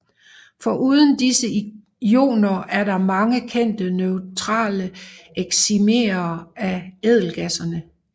Foruden disse ioner er der mange kendte neutrale excimerer af ædelgasserne